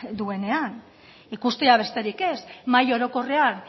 duenean ikustea besterik ez mahai orokorrean